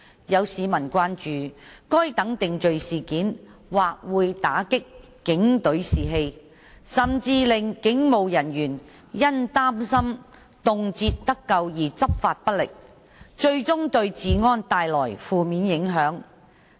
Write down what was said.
有市民關注該等定罪事件或會打擊警隊士氣，甚至令警務人員因擔心動輒得咎而執法不力，最終對治安帶來負面影響。